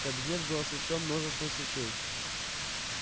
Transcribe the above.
кабинет был освещён множеством свечей